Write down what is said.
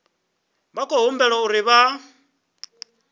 vha khou humbelwa uri vha